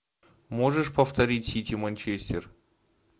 можешь повторить сити манчестер